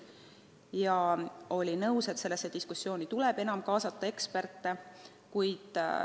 Ta oli nõus, et arutellu tuleb enam kaasata eksperte.